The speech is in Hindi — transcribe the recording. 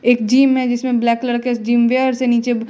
एक जिम है जिसमें ब्लैक कलर के जिम वेयर्स नीचे--